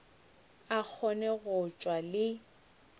a kgone go tšwa le